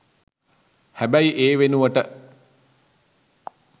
හැබැයි ඒ වෙනුවට